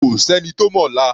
Kò sẹ́ni tó mọ̀la.